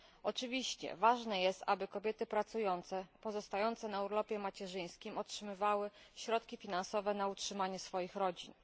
Oczywiście ważne jest, aby kobiety pracujące, pozostające na urlopie macierzyńskim otrzymywały środki finansowe na utrzymanie swoich rodzin.